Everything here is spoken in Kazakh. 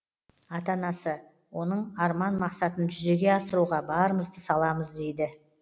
ата анасы оның арман мақсатын жүзеге асыруға барымызды саламыз дейді